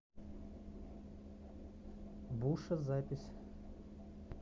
буше запись